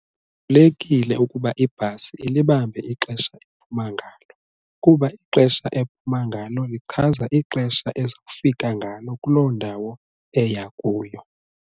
Kubalulekile ukuba ibhasi ilibambe ixesha ephuma ngalo kuba ixesha ephuma ngalo lichaza ixesha ezawufika ngalo kuloo ndawo eya kuyo.